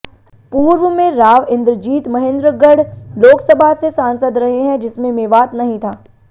पूर्व में राव इंद्रजीत महेंद्रगढ़ लोकसभा से सांसद रहे हैं जिसमें मेवात नहीं था